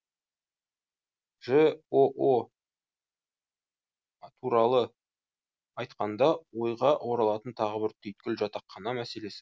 жоо ы туралы айтқанда ойға оралатын тағы бір түйткіл жатақхана мәселесі